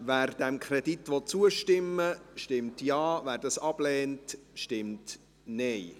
Wer diesem Kredit zustimmen will, stimmt Ja, wer diesen ablehnt, stimmt Nein.